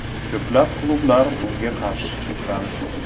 Ko‘plab klublar bunga qarshi chiqqan !